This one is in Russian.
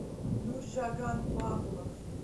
нуржаган павлов